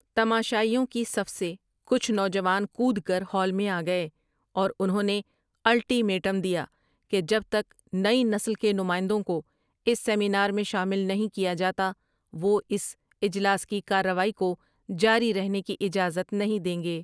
تماشائیوں کی صف سے کچھ نوجوان کود کر ہال میں آ گئے اور انہوں نے الٹی میٹم دیا کہ جب تک نئی نسل کے نمائندوں کو اس سیمینار میں شامل نہیں کیا جاتا، وہ اس اجلاس کی کارروائی کو جاری رہنے کی اجازت نہیں دیں گے ۔